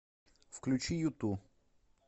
включи юту